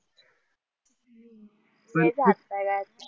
लईच हट्टी आहे यार